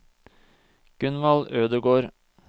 Gunvald Ødegård